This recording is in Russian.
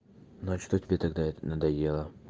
но что тебе тогда это надоело